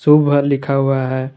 शुभ घर लिखा हुआ है।